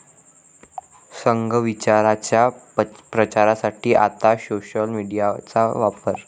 संघ विचाराच्या प्रचारासाठी आता 'सोशल मीडिया'चा वापर